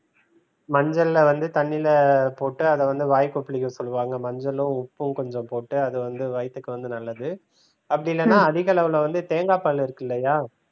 மஞ்சள வந்து தண்ணில போட்டு அத வந்து வாய் கொப்புளிக்க சொல்லுவாங்க மஞ்சளும் உப்பும் கொஞ்சம் போட்டு அது வந்து வயத்துக்கு வந்து நல்லது. அப்படி இல்லன்னா அதிக அளவுல வந்து தேங்காய் பால் இருக்கு இல்லையா